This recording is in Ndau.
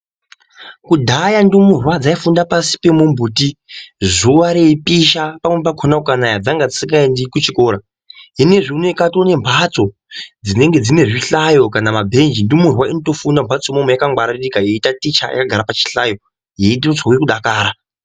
Kudhaya ndumurwe dzaifunda pasi pemuti zuwa reipisha pamweni pakona kukanaya dzanga dzisingaendi kuchikora Hino zvinezvi uno kwane zvihlayo kana mabhenji ndumurwe dzinofunda mbatso dzakangwaririka dzeitaticha dzakagara pachihlayo yeitozwa kudakara.